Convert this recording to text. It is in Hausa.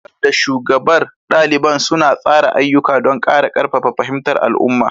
Shugaban da shugabar ɗaliban suna tsara ayyuka don ƙara ƙarfafa fahimtar al'umma.